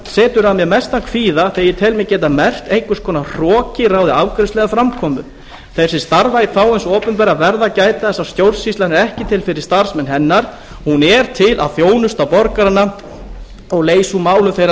setur að mér mestan kvíða þegar ég tel mig geta merkt að einhvers konar hroki ráði afgreiðslu eða framkomu þeir sem starfa í þágu hins opinbera verða að gæta þess að stjórnsýslan er ekki til fyrir starfsmenn hennar hún er til að þjónusta borgarana og leysa úr málum þeirra